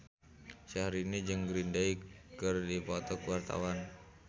Syahrini jeung Green Day keur dipoto ku wartawan